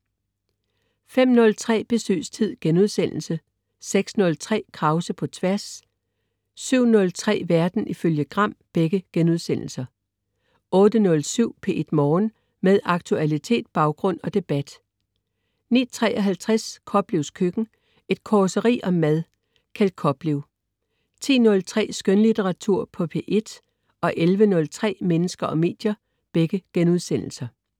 05.03 Besøgstid* 06.03 Krause på tværs* 07.03 Verden ifølge Gram* 08.07 P1 Morgen. Med aktualitet, baggrund og debat 09.53 Koplevs Køkken. Et causeri om mad. Kjeld Koplev 10.03 Skønlitteratur på P1* 11.03 Mennesker og medier*